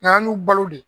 Nga an b'u balo de